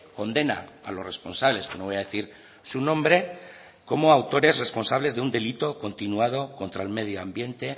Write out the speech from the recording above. condena a los responsables que no voy a decir su nombre como autores responsables de un delito continuado contra el medio ambiente